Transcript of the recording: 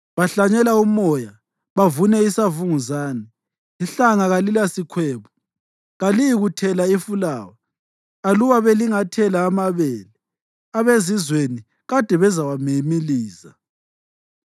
Bahlanyela umoya bavune isavunguzane. Ihlanga kalilasikhwebu; kaliyikuthela ifulawa. Aluba belingathela amabele, abezizweni kade bezawamimiliza.